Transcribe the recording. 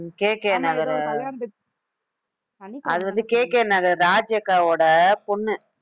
KK நகர், அது வந்து, KK நகர் ராஜி அக்காவோட பொண்ணு